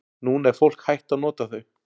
Núna er fólk hætt að nota þau.